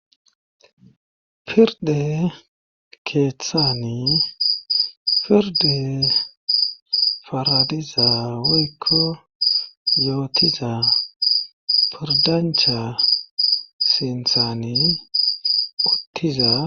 Pirde keeththani pirde faradiza woykko yootiza pirdancha sinthani uttiza.